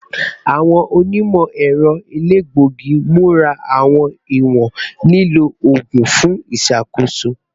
Awọn onimọ-ẹrọ elegbogi mura awọn iwọn lilo oogun fun iṣakoso